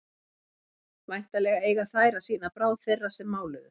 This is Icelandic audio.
væntanlega eiga þær að sýna bráð þeirra sem máluðu